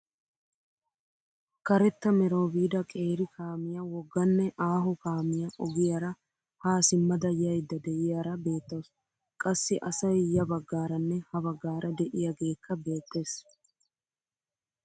Karetta merawu biida qeeri kaamiyaa wogganne aaho kaamiyaa ogiyaara haa simmada yayda de'iyaara beettawus. qassi asay ya baggaaranne ha baggaara de'iyaagekka beettees.